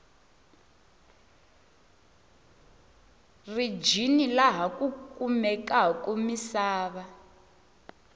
rijini laha ku kumekaku misava